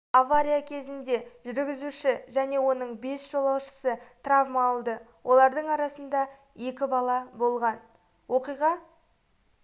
авария кезінде жүргізуші және оның бес жолаушысы травма алды олардың арасында екі бала болған оқиға